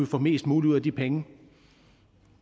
få mest muligt ud af de penge